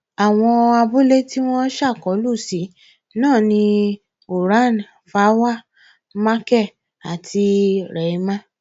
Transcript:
àwọn abúlé tí wọn ṣàkólú sí náà ni kuaràn fawa marké àti rihemá